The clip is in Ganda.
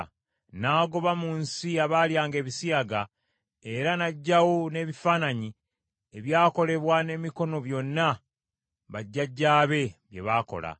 N’agoba mu nsi abaalyanga ebisiyaga, era n’aggyawo n’ebifaananyi ebyakolebwa n’emikono byonna bajjajjaabe bye baakola.